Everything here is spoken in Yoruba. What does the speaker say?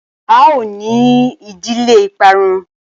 a o ni ìdílé iparun!